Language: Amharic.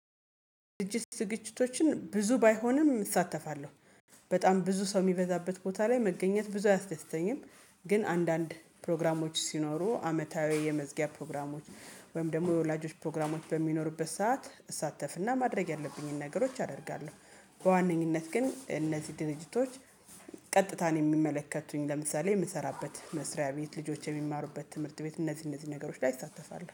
ዝግጅት ዝግጅቶችን ብዙ ባይሆንም እሳተፋለሁ በጣም ብዙ ሰው የሚበዛበት ቦታ ላይ መገኘት ብዙ አያስደስተኝም። ግን አንዳንድ ፕሮግራሞች ሲኖሩ አመታዊ የመዝጊያ ፕሮግራሞች ወይም ደግሞ የወላጆች ፕሮግራሞች በሚኖሩበት ሰዓት እሳተፍና ማድረግ ያለብኝን ነገሮች አደርጋለሁ። በዋነኝነት ግን እነዚህ ድርጅቶች ቀጥታ እኔን የሚመለከቱኝ ለምሳሌ የምሰራበት መስሪያ ቤት ልጆች የሚማሩበት ትምህርት ቤት እነዚህ እነዚህ ነገሮች ላይ እሳተፋለው